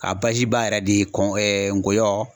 A baziba yɛrɛ de ye ɛɛ ngɔyɔ